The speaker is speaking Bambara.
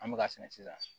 An bɛ ka sɛnɛ sisan